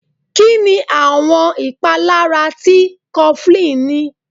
Kínni àwọn ìpalára tí cofflín ní?